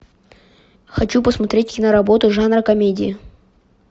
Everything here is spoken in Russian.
хочу посмотреть киноработу жанра комедии